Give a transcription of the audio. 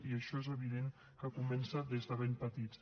i això és evident que comença des de ben petits